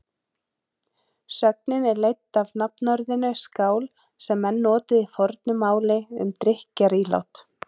Sögnin er leidd af nafnorðinu skál sem menn notuðu í fornu máli um drykkjarílát.